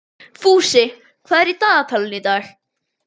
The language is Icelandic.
Fúsi, hvað er í dagatalinu í dag?